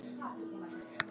Sú kona er ekki tigin.